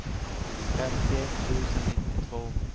femtioett tusen nittiotvå